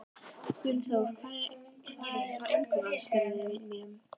Gunnþórunn, hvað er á innkaupalistanum mínum?